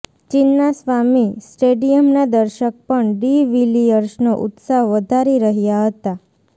ચિન્નાસ્વામી સ્ટેડિયમના દર્શક પણ ડિ વિલિયર્સનો ઉત્સાહ વધારી રહ્યાં હતા